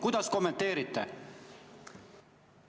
Kuidas kommenteerite?